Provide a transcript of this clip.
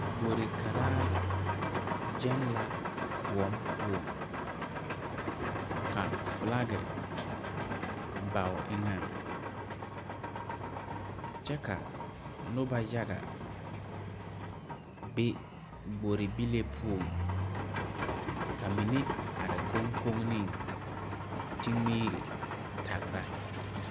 Gbore gyɛŋ la kõɔ poɔŋ ka flagi ba o eŋɛŋ kyɛ ka nobɔ yaga be gbore bile poɔŋ ka money are koŋkoŋneŋ te miire tagra.